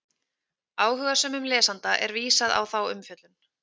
Áhugasömum lesanda er vísað á þá umfjöllun.